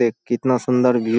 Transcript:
देख कितना सुंन्दर भीव --